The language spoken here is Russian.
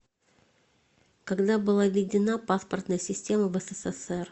когда была введена паспортная система в ссср